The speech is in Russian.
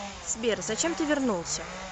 сбер зачем ты вернулся